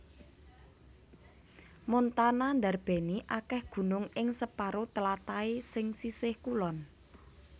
Montana ndarbèni akèh gunung ing separo tlatahé sing sisih kulon